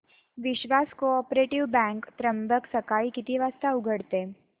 विश्वास cooperative bank Trimbak सकाळी किती वाजता उघडते